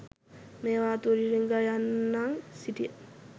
මේවා තුලින් රිංගා යන්නන් සිටිය